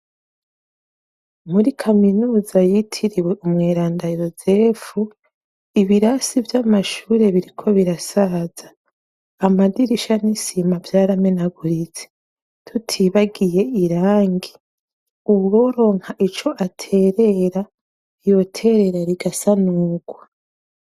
muri kaminuza yitiriwe umweranda yozefu ibirasi by'amashure biriko birasaza amadirisha nisima byaramenaguritse tutibagiye irangi uworonka ico aterera yoterera igasanugwa